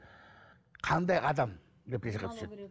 қандай адам депрессияға түседі